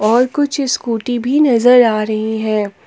और कुछ स्कूटी भी नजर आ रही है।